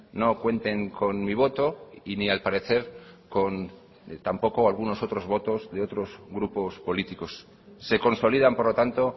no cuenten con mi voto y ni al parecer con tampoco algunos otros votos de otros grupos políticos se consolidan por lo tanto